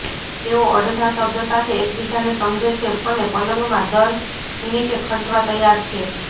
તેઓ અડધા શબ્દ સાથે એકબીજાને સમજે છે અને પલંગમાં દર મિનિટે ખર્ચવા તૈયાર છે